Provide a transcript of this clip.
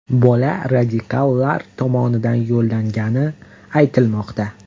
Bola radikallar tomonidan yollangani aytilmoqda.